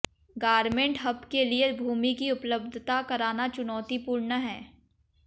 garment hub के लिये भूमि की उपलब्धता कराना चुनौतीपूर्ण है